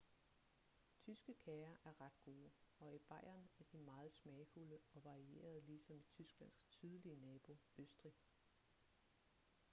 tyske kager er ret gode og i bayern er de meget smagsfulde og varierede ligesom i tysklands sydlige nabo østrig